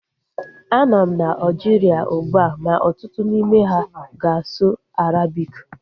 Anọ m na Aljiria ugbua ma ọtụtụ n'ime ha ga-asụ Arabiki